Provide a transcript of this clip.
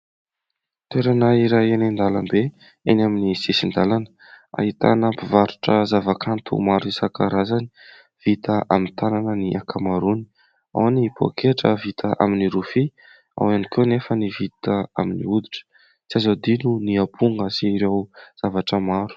Toerana iray eny an-dalambe eny amin'ny sisin-dalàna ahitana mpivarotra zavakanto maro isan-karazany vita amin'ny tanana ny ankamarony : ao ny poketra vita amin'ny rofia, ao ihany koa anefa ny vita amin'ny hoditra, tsy azo adino ny amponga sy ireo zavatra maro.